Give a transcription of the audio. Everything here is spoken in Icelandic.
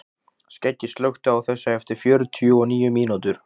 Skeggi, slökktu á þessu eftir fjörutíu og níu mínútur.